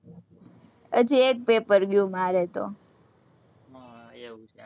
હજી એક paper ગયું, મારે તો.